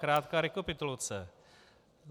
Krátká rekapitulace.